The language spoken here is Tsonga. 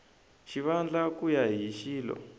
xivandla ku ya hi xilo